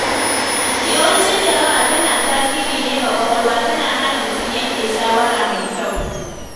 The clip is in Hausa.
Yawancin jaraba tana tasiri ne ga kwakwalwa, tana hana mutum yanke shawara mai kyau.